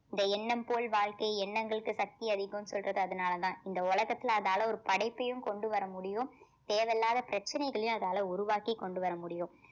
இந்த எண்ணம் போல் வாழ்க்கை எண்ணங்களுக்கு சக்தி அதிகம்னு சொல்றது அதனாலதான் இந்த உலகத்துல அதால ஒரு படைப்பையும் கொண்டு வர முடியும் தேவையில்லாத பிரச்சனைகளையும் அதால உருவாக்கி கொண்டு வர முடியும்